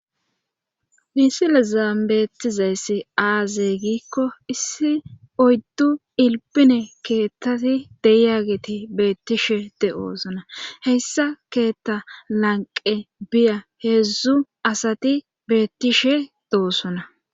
misilezan bettizayssi aaze giikko issi oyddu iilpine keettati deyageti beettishe de'oosona heyssa keetta lanqe biya heedzdzu asati beettishe doosona